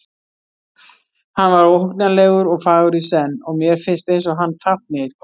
Hann var óhugnanlegur og fagur í senn og mér finnst eins og hann tákni eitthvað.